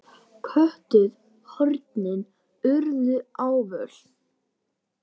Köntuð hornin urðu ávöl.